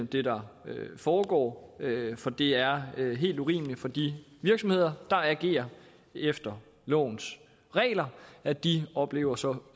det der foregår er tilfredsstillende for det er helt urimeligt for de virksomheder der agerer efter lovens regler at de oplever så